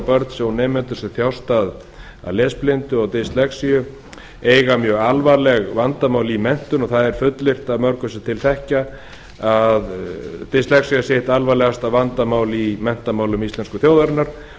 börn og ungmenni sem þjást af lesblindu og dyslexíu eigi við alvarleg vandamál að stríða í menntun og það er fullyrt af mörgum sem til þekkja að dyslexía sé eitt alvarlegasta vandamál í menntamálum íslensku þjóðarinnar